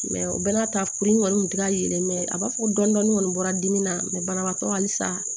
o bɛɛ n'a ta kuru in kɔni tun tɛ ka yɛlɛ a b'a fɔ ko dɔni dɔni kɔni bɔra dimi na banabaatɔ halisa